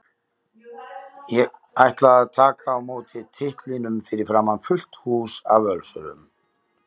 Ég ætla að taka á móti titlinum fyrir framan fullt hús af Völsurum.